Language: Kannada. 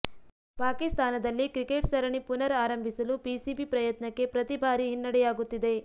ಪಾಕಿಸ್ತಾನದಲ್ಲಿ ಕ್ರಿಕೆಟ್ ಸರಣಿ ಪುನರ್ ಆರಂಭಿಸಲು ಪಿಸಿಬಿ ಪ್ರಯತ್ನಕ್ಕೆ ಪ್ರತಿ ಭಾರಿ ಹಿನ್ನಡೆಯಾಗುತ್ತಿದೆ